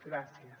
gràcies